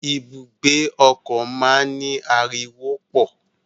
Ibùgbé ọkọ máa n ni ariwo pọ.